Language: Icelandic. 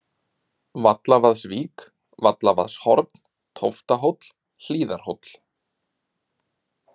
Vallavaðsvík, Vallavaðshorn, Tóftahóll, Hlíðarhóll